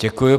Děkuji.